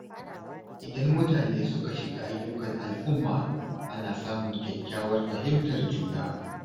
Idan mutane suka shiga ayyukan al’umma, ana samun kyakkyawar fahimtar juna.